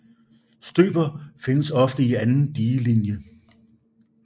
Støper findes ofte i anden digelinje